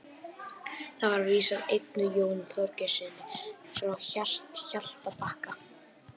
þar er vísan eignuð jóni þorgeirssyni frá hjaltabakka